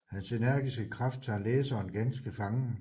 Hans energiske kraft tager læseren ganske fangen